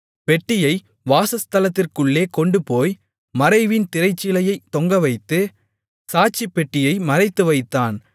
பெட்டியை வாசஸ்தலத்திற்குள்ளே கொண்டுபோய் மறைவின் திரைச்சீலையைத் தொங்கவைத்து சாட்சிப்பெட்டியை மறைத்துவைத்தான்